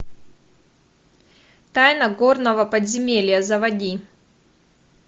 тайна горного подземелья заводи